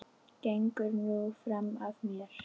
Gengur nú fram af mér!